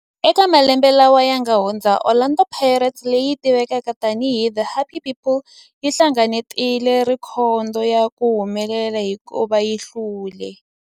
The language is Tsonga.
Eka malembe lawa yanga hundza, Orlando Pirates, leyi tivekaka tani hi The Happy People, yi hlengeletile rhekhodo ya ku humelela hikuva yi hlule.